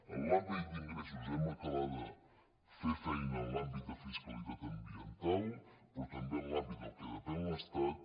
en l’àmbit d’ingressos hem d’acabar de fer feina en l’àmbit de fiscalitat ambiental però també en l’àmbit del que depèn de l’estat